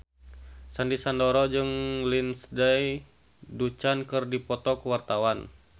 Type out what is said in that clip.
Sandy Sandoro jeung Lindsay Ducan keur dipoto ku wartawan